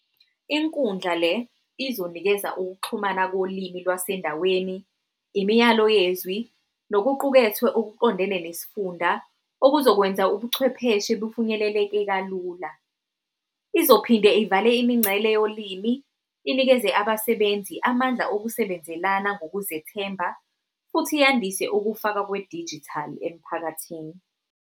Inkundla le izonikeza ukuxhumana kolimi lwasendaweni, imiyalo yezwi, nokuqukethwe okuqondene nesifunda okuzokwenza ubuchwepheshe bufinyeleleke kalula. Izophinde ivale imingcele yolimi, inikeze abasebenzi amandla okusebenzelana ngokuzethemba, futhi yandise ukufaka kwe-digital emphakathini.